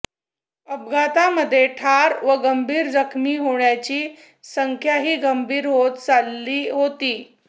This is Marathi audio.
अपघातामध्ये ठार व गंभीर जखमी होण्याची संख्याही गंभीर होत चालली होती